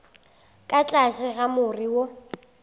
ka tlase ga more wo